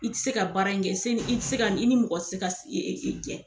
I ti se ka baara in kɛ i ti se ka i ni mɔgɔ ti se ka jɛn.